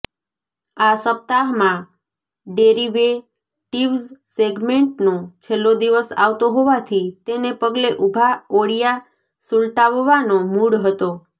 આ સપ્તાહમાં ડેરિવેટિવ્ઝ સેગ્મેન્ટનો છેલ્લો દિવસ આવતો હોવાથી તેને પગલે ઊભાં ઓળિયા સુલટાવવાનો મૂડ હતો